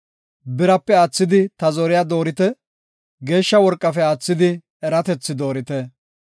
Birape aathidi ta zoriya doorite; geeshsha worqafe aathidi eratethi doorite.